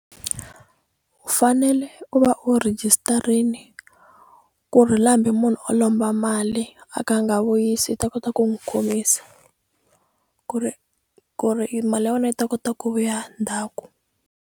U fanele ku va u rhejisitarini ku ri la hambi munhu o lomba mali a ka a nga vuyisi u ta kota ku n'wi khomisa ku ri ku ri mali ya wena u ta kota ku vuya ndhaku.